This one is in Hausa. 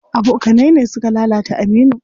Abokanai ne suka lalata Aminu.